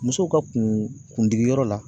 Musow ka kundigiyɔrɔ la